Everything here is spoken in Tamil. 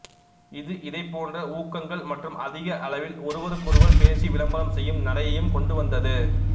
இது இதைப்போன்ற ஊக்கங்கள் மற்றும் அதிக அளவில் ஒருவருக்கொருவர் பேசி விளம்பரம் செய்யும் நடையையும் கொண்டுவந்தது